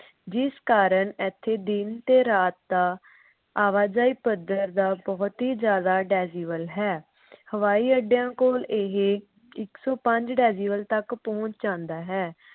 ਜਿਸ ਕਾਰਨ ਇਥੇ ਦਿਨ ਤੇ ਰਾਤ ਦਾ ਆਵਾਜਾਈ ਪੱਧਰ ਦਾ ਬਹੁਤ ਹੀ ਜਿਆਦਾ decibel ਹੈ। ਹਵਾਈ ਅੱਡਿਆਂ ਕੋਲ ਇਹ ਇਕ ਸੌ ਪੰਜ decibel ਤੱਕ ਪਹੁੰਚ ਜਾਂਦਾ ਹੈ।